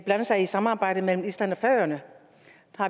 blande sig i samarbejdet mellem island og færøerne